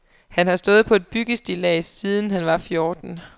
Han har stået på et byggestillads siden han var fjorten.